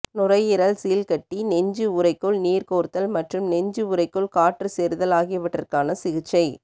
நுரையீரல் சீழ் கட்டி நெஞ்சு உறைக்குள் நீர் கோர்த்தல் மற்றும் நெஞ்சு உறைக்குள் காற்று சேருதல் ஆகியவற்றுக்கான சிகிச்சை